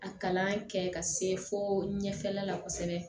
A kalan kɛ ka se fo ɲɛfɛla la kosɛbɛ